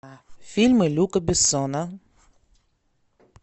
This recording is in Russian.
фильмы люка бессона